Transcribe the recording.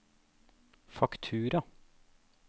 faktura